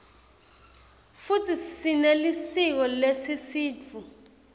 futsi sinelisiko lesisutfu